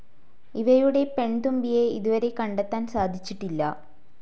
ഇവയുടെ പെൺതുമ്പിയെ ഇതുവരെ കണ്ടെത്താൻ സാധിച്ചിട്ടില്ല.